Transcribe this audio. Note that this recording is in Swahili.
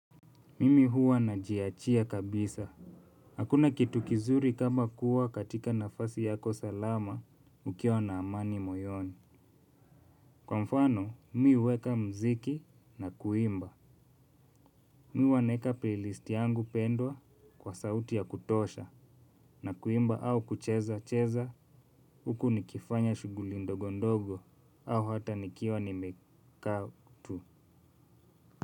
Mimi huwa najiachia kabisa. Hakuna kitu kizuri kama kuwa katika nafasi yako salama ukiwa na amani moyoni. Kwa mfano, mi huweka mziki na kuimba. Mimi huwa naweka playlist yangu pendwa kwa sauti ya kutosha na kuimba au kucheza cheza huku nikifanya shughuli ndogondogo au hata nikiwa nimekaa tu.